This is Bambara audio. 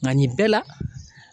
Nka nin bɛɛ la